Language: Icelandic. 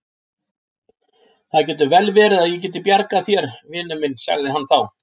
Það getur vel verið að ég geti bjargað þér, vinur minn sagði hann þá.